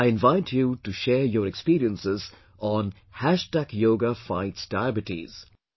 I invite you to share your experiences on "Hashtag Yoga Fights Diabetes"